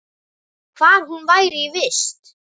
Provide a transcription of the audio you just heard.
Hvar hún væri í vist.